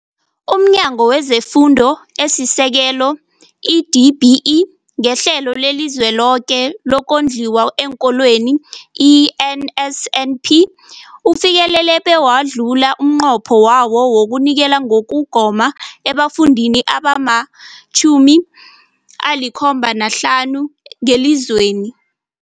UmNyango wezeFundo esiSekelo, i-DBE, ngeHlelo leliZweloke lokoNdliwa eenKolweni, i-NSNP, ufikelele bewadlula umnqopho wawo wokunikela ngokugoma ebafundini abama-75 ngelizweni.